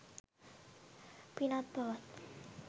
පිනත්, පවත්